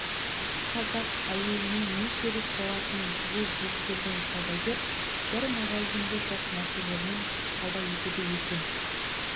қазақ әйеліне не керек болатынын түгел ескерген саудагер бір магазинде жоқ нәрселермен сауда етеді екен